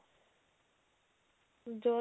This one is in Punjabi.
ਜੋਰਜੱਟ